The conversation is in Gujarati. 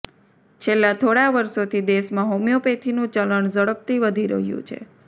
છેલ્લા થોડા વર્ષોથી દેશમાં હોમીયોપેથીનું ચલણ ઝડપથી વધુ રહ્યું છે